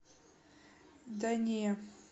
да не